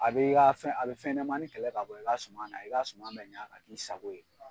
A bɛ i ka fɛn fɛnɲanamani kɛlɛ ka bɔ i k'a suma na i ka suma bɛ ɲa ka k'i sago ye.